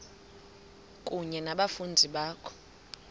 kunye nabafundi bakho